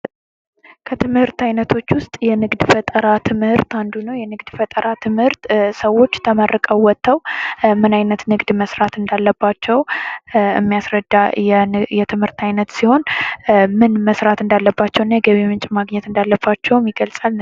ከትምህርት አይነቶች ዉስጥ የንግድ ፈጠራ ትምህርት አንዱ ነው የንግድ ፈጠራ ትምህርት ሰዎች ተመርቀው ወጥተው ምን አይነት ንግድ መስራት እንዳለባቸው የሚያስረዳ የትምህርት አይነት ሲሆን፤ ምን መስራት እንዳለባቸው እና የገቢ ምንጭም እንዳላቸው ይገልጻል።